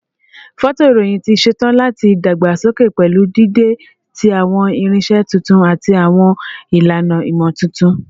Fọtoirohin ti ṣetan lati dagbasoke pẹlu dide ti awọn irinṣẹ tuntun ati awọn ilana imotuntun